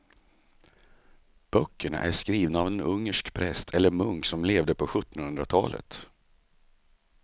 Böckerna är skrivna av en ungersk präst eller munk som levde på sjuttonhundratalet.